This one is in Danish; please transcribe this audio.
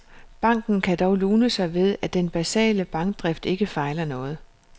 Banken kan dog lune sig ved, at den basale bankdrift ikke fejler noget.